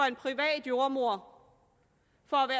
en privat jordemoder for